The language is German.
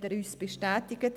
Das hat er uns bestätigt.